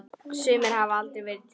Sumir hafa aldrei verið til.